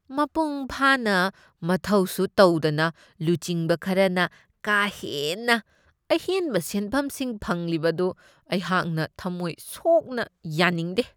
ꯃꯄꯨꯡ ꯐꯥꯅ ꯃꯊꯧꯁꯨ ꯇꯧꯗꯅ ꯂꯨꯆꯤꯡꯕ ꯈꯔꯅ ꯀꯥ ꯍꯦꯟꯅ ꯑꯍꯦꯟꯕ ꯁꯦꯟꯐꯝꯁꯤꯡ ꯐꯪꯂꯤꯕ ꯑꯗꯨ ꯑꯩꯍꯥꯛꯅ ꯊꯃꯣꯏ ꯁꯣꯛꯅ ꯌꯥꯅꯤꯡꯗꯦ ꯫